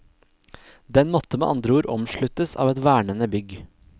Den måtte med andre ord omsluttes av et vernende bygg.